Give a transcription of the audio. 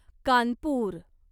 Kanpur